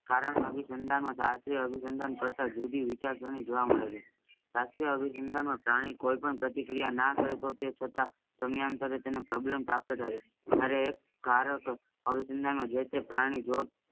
કારણ અભિસંતાન શાસ્ત્રી અભિસંતાન કરતાં જુદી વિચારસની જોવા મેડ છે. શાસ્ત્રી એ અભિસંતાન નો પ્રાણી કોઈ પણ પ્રતિક્રિયા ના કરે તો તે છતાં તેમનો problem પ્રાપ્ત કર્યો ત્યરેહ એક કારક અભિસંતાન માં જે તે પ્રાણી